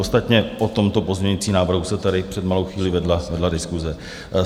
Ostatně o tomto pozměňujícím návrhu se tady před malou chvílí vedla diskuse.